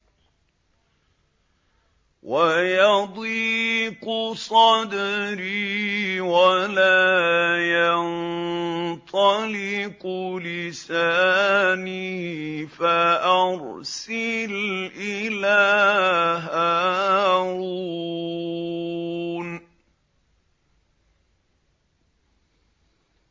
وَيَضِيقُ صَدْرِي وَلَا يَنطَلِقُ لِسَانِي فَأَرْسِلْ إِلَىٰ هَارُونَ